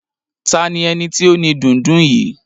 Ta ni eni ti o ni dundun yìí?